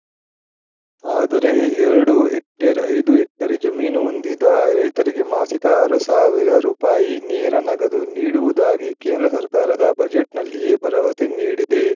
ಆದರೆ ಎರಡು ಹೆಕ್ಟೇರ್‌ ಐದು ಹೆಕ್ಟರ್ ಜಮೀನು ಹೊಂದಿದ ರೈತರಿಗೆ ಮಾಸಿಕ ಆರು ಸಾವಿರ ರೂಪಾಯಿ ನೇರ ನಗದು ನೀಡುವುದಾಗಿ ಕೇಂದ್ರ ಸರ್ಕಾರದ ಬಜೆಟ್‌ನಲ್ಲಿಯೇ ಭರವಸೆ ನೀಡಿದೆ